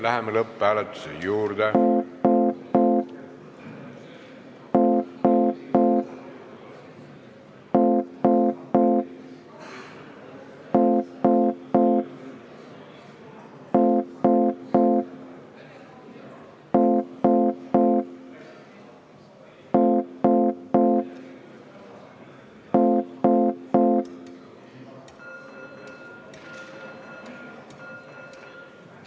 Läheme lõpphääletuse juurde.